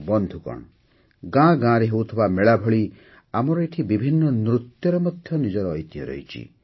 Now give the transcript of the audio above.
ବନ୍ଧୁଗଣ ଗାଁ ଗାଁରେ ହେଉଥିବା ମେଳା ଭଳି ଆମର ଏଠି ବିଭିନ୍ନ ନୃତ୍ୟର ମଧ୍ୟ ନିଜର ଐତିହ୍ୟ ରହିଛି